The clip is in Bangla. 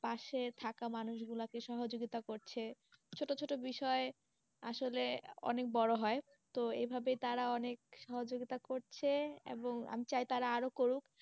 পাশে থাকা মানুষ গুলা কে সহযোগিতা করছে, ছোটো ছোটো বিষয়ে আসলে অনেক বড়ো হয়, তো এই ভাবে তারা অনেক সহযোগিতা করছে এবং আমি চাই তারা আরো করুক।